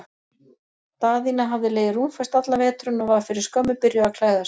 Daðína hafði legið rúmföst allan veturinn og var fyrir skömmu byrjuð að klæða sig.